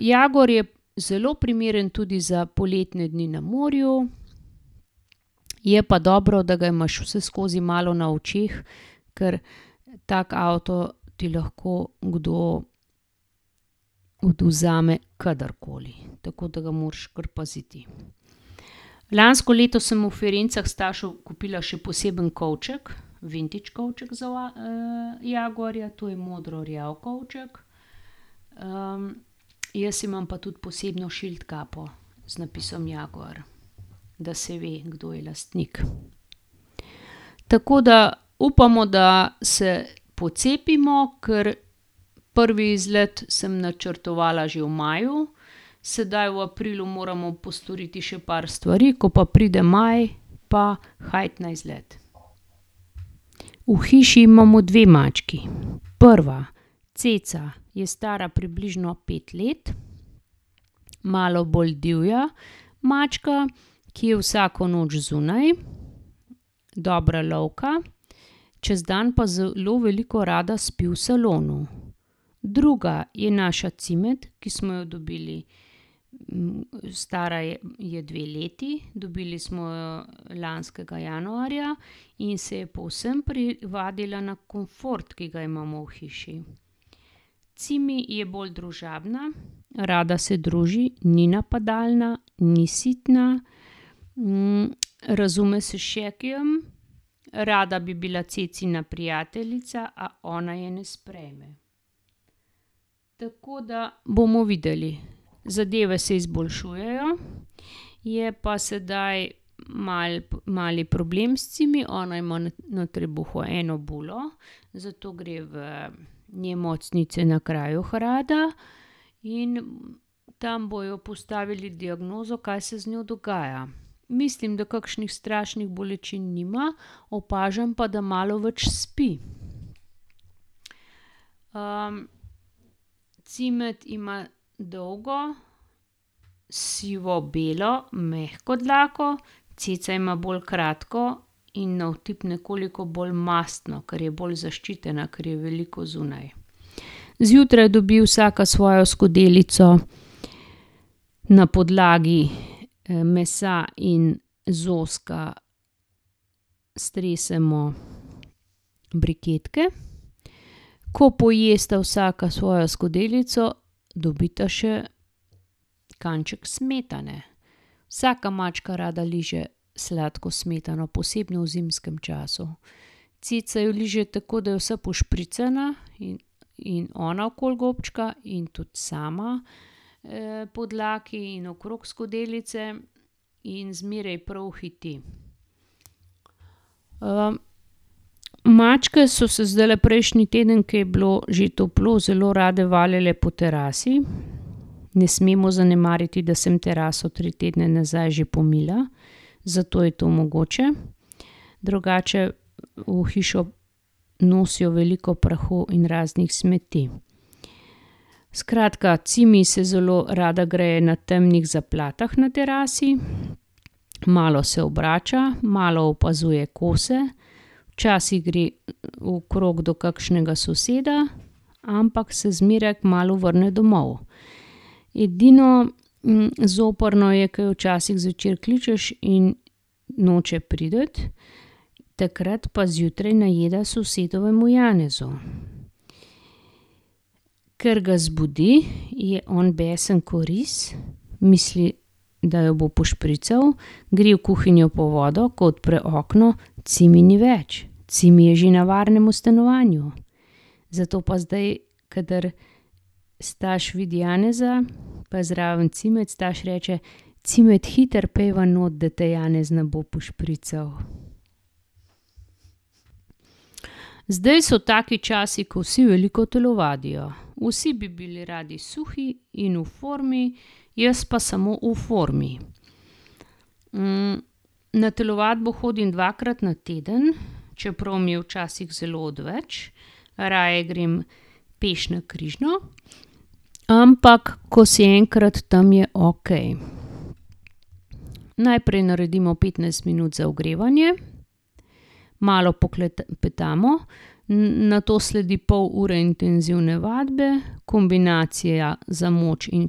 jaguar je zelo primeren tudi za poletne dni na morju. Je pa dobro, da ga imaš vseskozi malo na očeh, ker tako avto ti lahko kdo odvzame kdrkoli. Tako da ga moraš kar paziti. Lansko leto sem v Firencah Stašu kupila še poseben kovček, vintage kovček za v jaguarja, to je modrorjav kovček. jaz imam pa tudi posebno šildkapo z napisom Jaguar. Da se ve, kdo je lastnik. Tako da upamo, da se pocepimo, ker prvi izlet sem načrtovala že v maju, sedaj v aprilu moramo postoriti še par stvari, ko pa pride maj, pa, na izlet. V hiši imamo dve mački. Prva, Ceca, je stara približno pet let, malo bolj divja mačka, ki je vsako noč zunaj, dobra lovka, čez dan pa zelo veliko rada spi v salonu. Druga je naša Cimet, ki smo jo dobili. stara je dve leti, dobili smo jo lanskega januarja, in se je povsem privadila na komfort, ki ga imamo v hiši. Cimi je bolj družabna, rada se druži, ni napadalna, ni sitna, razume se s Šekijem, rada bi bila Cecina prijateljica, a ona je ne sprejme. Tako da bomo videli. Zadeve se izboljšujejo, je pa sedaj malo, malo je problem s Cimi, ona ima na trebuhu eno bulo, zato gre v in tam bojo postavili diagnozo, kaj se z njo dogaja. Mislim, da kakšnih strašnih bolečin nima, opažam pa, da malo več spi. Cimet ima dolgo sivobelo mehko dlako, Ceca ima bolj kratko in na otip nekoliko bolj mastno, ker je bolj zaščitena, ker je veliko zunaj. Zjutraj dobi vsaka svojo skodelico na podlagi, mesa in zoska, stresemo briketke. Ko pojesta vsaka svojo skodelico, dobita še kanček smetane. Vsaka mačka rada liže sladko smetano, posebno v zimskem času. Ceca jo liže tako, da je vsa pošpricana ona okoli gobčka in tudi sama, po dlaki in okrog skodelice in zmeraj prav hiti. mačke so se zdajle prejšnji teden, ke je bilo že toplo, zelo rade valjale po terasi. Ne smemo zanemariti, da sem teraso tri tedne nazaj že pomila. Zato je to mogoče. Drugače v hišo nosijo veliko prahu in raznih smeti. Skratka, Cimi se zelo rada greje na temnih zaplatah na terasi, malo se obrača, malo opazuje kose. Včasih gre okrog do kakšnega soseda, ampak se zmeraj kmalu vrne domov. Edino, zoprno je, ki jo včasih zvečer kličeš in noče priti. Takrat pa zjutraj najeda sosedovemu Janezu. Ker ga zbudi, je on besen ko res, misli, da jo bo pošprical, gre v kuhinjo po vodo, ko odpre okno, Cimi ni več, Cimi je že na varnem v stanovanju. Zato pa zdaj kadar Staš vidi Janeza pa je zraven Cimet, Staš reče: "Cimet, hitro pojdiva not, da te Janez ne bo pošprical." Zdaj so taki časi, ko vsi veliko telovadijo. Vsi bi bili radi suhi in v formi, jaz pa samo v formi. na telovadbo hodim dvakrat na teden, čeprav mi je včasih zelo odveč. Raje grem peš na Križno. Ampak ko si enkrat tam, je okej. Najprej naredimo petnajst minut za ogrevanje, malo poklepetamo, nato sledi pol ure intenzivne vadbe, kombinacija za moč in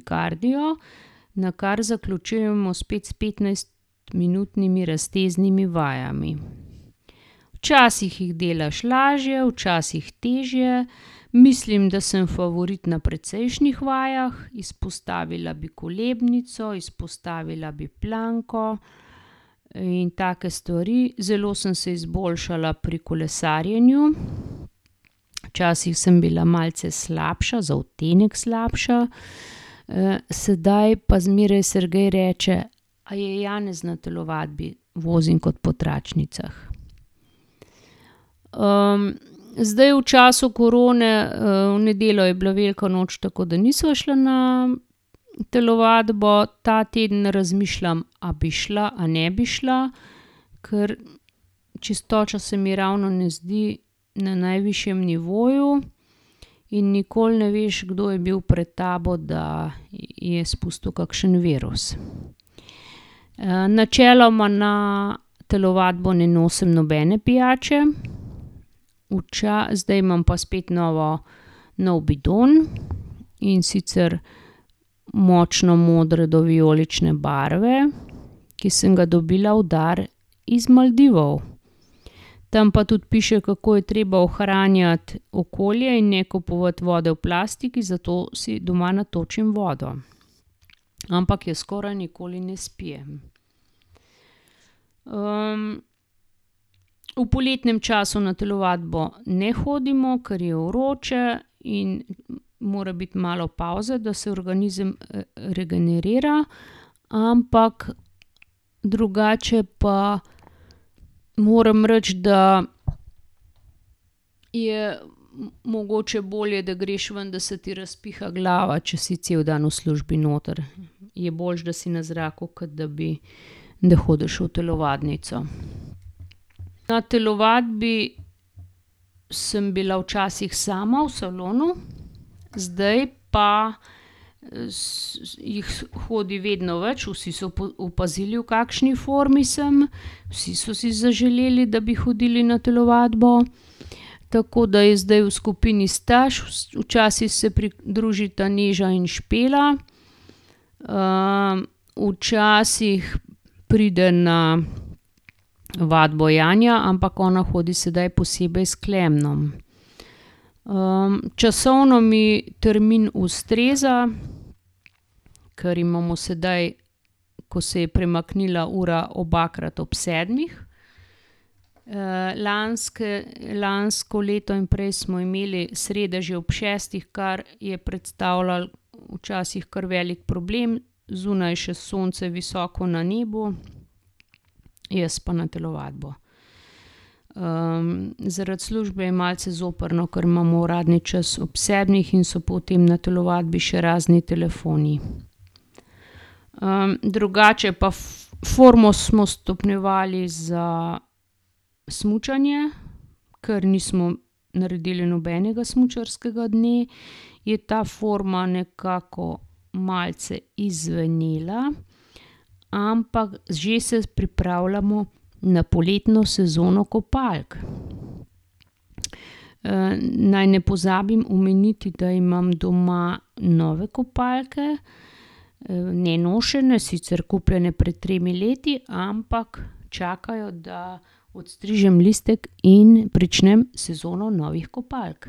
kardio, nakar zaključujemo spet s petnajstminutnimi razteznimi vajami. Včasih jih delaš lažje, včasih težje. Mislim, da sem favorit na precejšnjih vajah. Izpostavila bi kolebnico, izpostavila bi planko, in take stvari. Zelo sem se izboljšala pri kolesarjenju, včasih sem bila malce slabša, za odtenek slabša, sedaj pa zmeraj Sergej reče: "A je Janez na telovadbi? Vozim kot po tračnicah." zdaj v času korone, v nedeljo je bila velika noč, tako da nisva šla na telovadbo, ta teden razmišljam, a bi šla a ne bi šla, ker čistoča se mi ravno ne zdi na najvišjem nivoju in nikoli ne veš, kdo je bil pred tabo, da je spustil kakšen virus. načeloma na telovadbo ne nosim nobene pijače, zdaj imam pa spet novo, nov bidon, in sicer močno modre do vijolične barve, ki sem ga dobila v dar iz Maldivov. Tam pa tudi piše, kako je treba ohranjati okolje in ne kupovati vode v plastiki, zato si doma natočim vodo. Ampak je skoraj nikoli ne spijem. v poletnem času na telovadbo ne hodimo, ker je vroče in mora biti malo pavze, da se organizem, regenerira. Ampak drugače pa moram reči, da je mogoče bolje, da greš ven, da se ti razpiha glava, če si cel dan v službi noter. Je boljše, da si na zraku, kot da bi, da hodiš v telovadnico. Na telovadbi sem bila včasih sama v salonu, zdaj pa, jih hodi vedno več, vsi so opazili, v kakšni formi sem, vsi so si zaželeli, da bi hodili na telovadbo. Tako da je zdaj v skupini Staš, včasih se pridružita Neža in Špela, včasih pride na vadbo Janja, ampak ona hodi sedaj posebej s Klemnom. časovno mi termin ustreza, ker imamo zdaj, ko se je premaknila ura, obakrat ob sedmih. lansko leto in prej smo imeli srede že ob šestih, kar je predstavljalo včasih kar velik problem. Zunaj je še sonce visoko na nebu, jaz pa na telovadbo. zaradi službe je malce zoprno, ker imamo uradni čas ob sedmih in so potem na telovadbi še razni telefoni. drugače pa formo smo stopnjevali za smučanje. Ker nismo naredili nobenega smučarskega dne, je ta forma nekako malce izzvenela, ampak že se pripravljamo na poletno sezono kopalk. naj ne pozabim omeniti, da imam doma nove kopalke, nenošene, sicer kupljene pred tremi leti, ampak čakajo, da odstrižem listek in pričnem sezono novih kopalk.